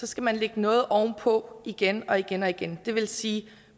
skal man lægge noget oven på igen og igen og igen det vil sige